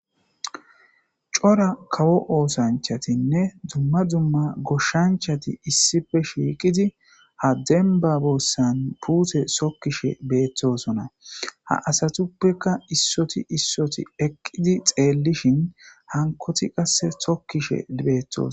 Cora kawo oothanchatinne dumma dumma goshshanchati issippe shiiqidi ha dembba bessan miththa puute tokkishe beetosona. Ha asatuppeka isoti isoti eqqidi xeelishin hankoti qasseka tokishe deetees.